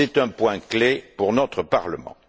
C'est un point clé pour notre Parlement.